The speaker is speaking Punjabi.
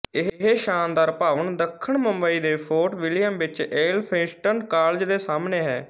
ਇਹ ਸ਼ਾਨਦਾਰ ਭਵਨ ਦੱਖਣ ਮੁੰਬਈ ਦੇ ਫੋਰਟ ਵਿਲਿਅਮ ਵਿੱਚ ਏਲਫਿੰਸਟਨ ਕਾਲਜ ਦੇ ਸਾਹਮਣੇ ਹੈ